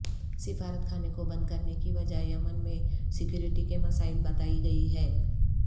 سفارت خانے کو بند کرنے کی وجہ یمن میں سکیورٹی کے مسائل بتائی گئی ہے